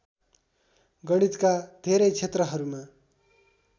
गणितका धेरै क्षेत्रहरूमा